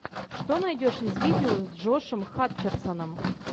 что найдешь из видео с джошем хатчерсоном